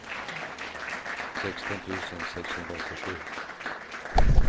sexton tusen sexhundraåttiosju